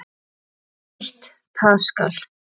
Eitt paskal